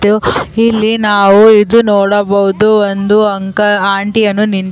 ಮತ್ತು ಇಲ್ಲಿ ನಾವು ಇದು ನೋಡಬಹುದು ಒಂದು ಅಂಕಲ್ ಆಂಟಿಯನ್ನು --